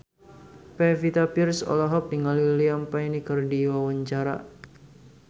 Pevita Pearce olohok ningali Liam Payne keur diwawancara